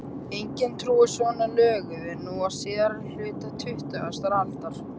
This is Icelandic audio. Enginn trúir svona löguðu nú á síðari hluta tuttugustu aldar.